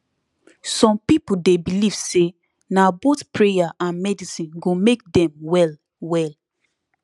some people dey believe say na both prayer and medicine go make dem well well